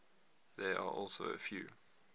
there are also a few